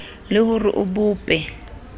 le ho re o bope